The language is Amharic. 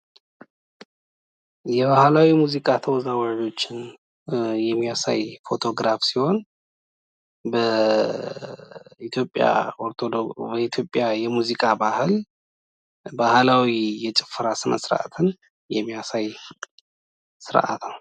የባህላዊ ሙዚቃ ተወዛዋዦችን የሚያሳይ ፎቶግራፍ ሲሆን በኢትዮጵያ የሙዚቃ ባህል ባህላዊ የጭፈራ ስነስርዓትን የሚያሳይ ስርአት ነው።